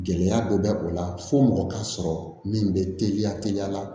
Gɛlɛya dɔ bɛ o la fo mɔgɔ ka sɔrɔ min bɛ teliya teliya la